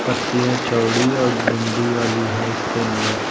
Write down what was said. पत्तियां चौड़ी और डंडी वाली हैं इसके अंदर।